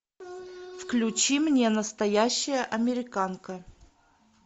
включи мне настоящая американка